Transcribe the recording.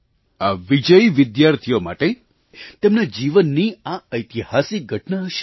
આ વિજયી વિદ્યાર્થીઓ માટે તેમના જીવનની આ ઐતિહાસિક ઘટના હશે